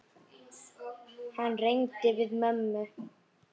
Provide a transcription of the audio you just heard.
Hann reyndi við mömmu!